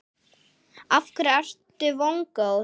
Af hverju ertu vongóð?